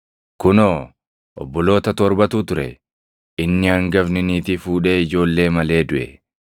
Kunoo obboloota torbatu ture. Inni hangafni niitii fuudhee ijoollee malee duʼe.